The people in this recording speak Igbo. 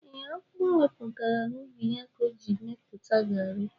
E, akpu o wetara n'ubi ya ka o ji mepụta garri